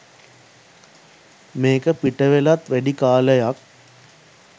මේක පිටවෙලත් වැඩි කාලයක්